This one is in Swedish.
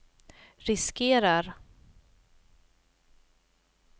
riskerar